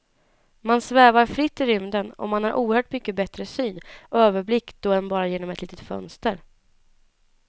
Man svävar fritt i rymden och man har oerhört mycket bättre syn och överblick då än bara genom ett litet fönster.